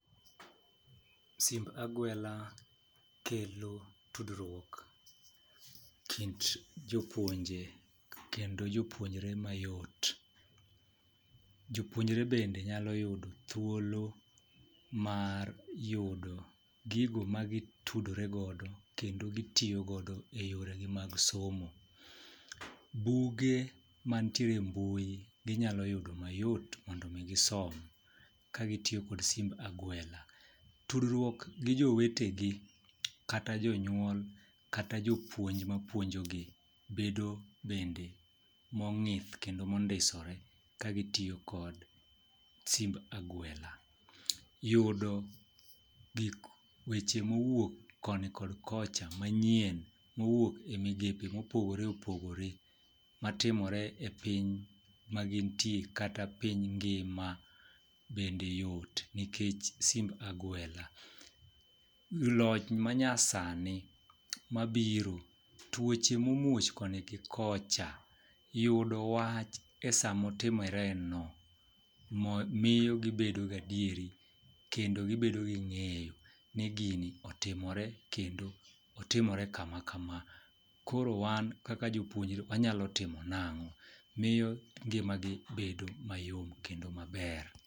Simb agwela kelo tudruok kind jopuonje kendo jopuonjre mayot. Jopuonjre bende nyalo yudo thuolo mar yudo gigo magi tudore godo kendo gi tiyo godo eyoregi mag somo. Buge mantiere embui gi nyalo yudo mayot mondo mi gisom ka gi tiyo kod simb agwela. Tudruok gi jowetegi, kata jonyuol, kata gi jopuonj mapuonjogi bedo bende mong'ith kendo mondisore ka gi tiyo kod simb agwela. Yudo gik weche mowuok koni kod kocha manyien mowuok e migepe mopogore opogore matimore epiny ma gintie kata piny ngima bende yot nikech simb agwela. Loch manyasani mabiro, tuoche momuoch koni kod kocha yudo wach e sama otimoreno miyo gi bedo gi adieri kendo gi bedo gi ng'eyo ni gini otimore kendo otimore kama kama kama. Koro wan kaka jopuonjre wanyalo timo nang'o miyo ngimagi bedo mayom kendo maber